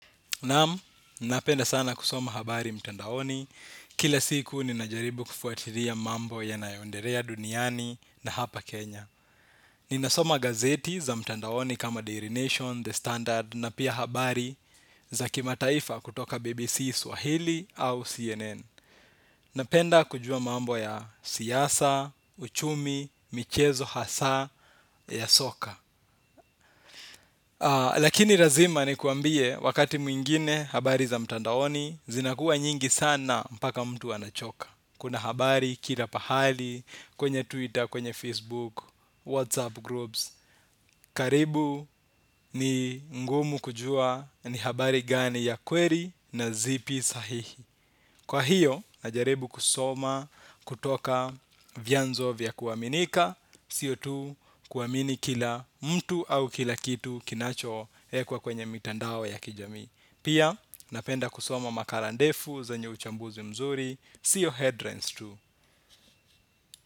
Naam, napenda sana kusoma habari mtandaoni. Kila siku ninajaribu kufuatilia mambo yanayondelea duniani na hapa Kenya. Ninasoma gazeti za mtandaoni kamaa Daily Nation, The Standard na pia habari za kimataifa kutoka BBC Swahili au CNN. Napenda kujua mambo ya siasa, uchumi, michezo hasa ya soka. Lakini lazima nikwambie wakati mwingine habari za mtandaoni zinakuwa nyingi sana mpaka mtu anachoka. Kuna habari kila pahali kwenye Twitter, kwenye Facebook, Whatsapp groups, karibu ni ngumu kujua ni habari gani ya kweli na zipi sahihi. Kwa hio na jaribu kusoma kutoka vyanzo vya kuaminika. Sio tu kuamini kila mtu au kila kitu kinacho ekwa kwenye mitandao ya kijamii. Pia, napenda kusoma makara ndefu zenye uchambuzi mzuri. Sio headlines tu.